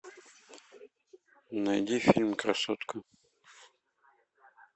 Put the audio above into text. найди фильм красотка